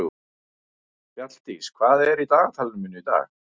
Fjalldís, hvað er í dagatalinu mínu í dag?